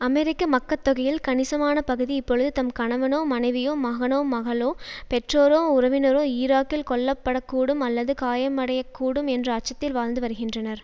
அமெரிக்க மக்கட்தொகையில் கணிசமான பகுதி இப்பொழுது தம் கணவனோ மனைவியோ மகனோ மகளோ பெற்றோரோ உறவினரோ ஈராக்கில் கொல்லப்படக்கூடும் அல்லது காயமடையக்கூடும் என்ற அச்சத்தில் வாழ்ந்துவருகிறனர்